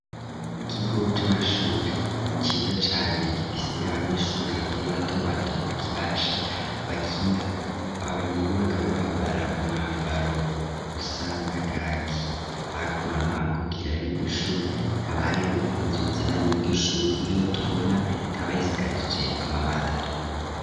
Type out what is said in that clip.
ikigo c'amashuri ciza cane gifise abanyeshuri bakiri bato bato bakibasha bakina ahorero bakaba bambara umwambaro usa na kaki hakuno no hakurya yiryo shuri hakaba hariho inzu zibanyi yiryo shuri nkiyo tubona ikaba isakajije amabati atukura.